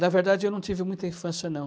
Na verdade, eu não tive muita infância, não.